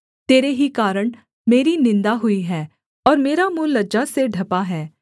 तेरे ही कारण मेरी निन्दा हुई है और मेरा मुँह लज्जा से ढँपा है